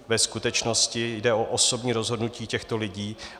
Ve skutečnosti jde o osobní rozhodnutí těchto lidí.